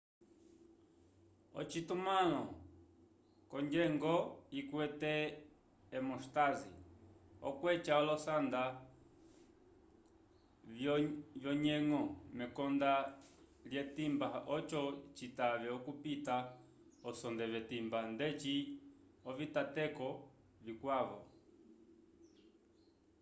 ocitumãlo c'onyeñgo ikwete a hemóstase okweca olosanda vyonyeñgo mekonda lyetimba oco citave okupita osonde v'etimba ndeci ovitateko vikwavo